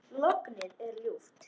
Lognið er ljúft.